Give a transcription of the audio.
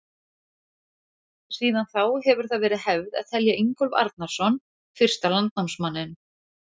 Síðan þá hefur það verið hefð að telja Ingólf Arnarson fyrsta landnámsmanninn.